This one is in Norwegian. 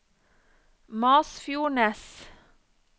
Masfjordnes